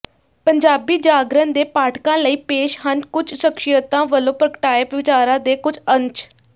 ਪੰਜਾਬੀ ਜਾਗਰਣ ਦੇ ਪਾਠਕਾਂ ਲਈ ਪੇਸ਼ ਹਨ ਕੁੱਝ ਸ਼ਖ਼ਸੀਅਤਾਂ ਵੱਲੋਂ ਪ੍ਰਗਟਾਏ ਵਿਚਾਰਾਂ ਦੇ ਕੁੱਝ ਅੰਸ਼